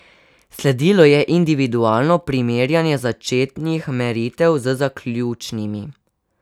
Sledilo je individualno primerjanje začetnih meritev z zaključnimi.